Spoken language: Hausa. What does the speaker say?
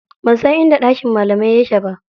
Ban san inda ɗakin malamai yake ba.